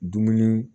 Dumuni